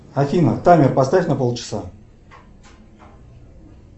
афина таймер поставь на полчаса